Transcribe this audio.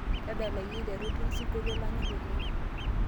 tadalayu aiteru ton sinkolio lanyor oleng